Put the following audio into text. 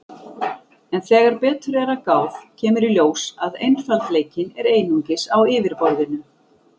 En þegar betur er að gáð kemur í ljós að einfaldleikinn er einungis á yfirborðinu.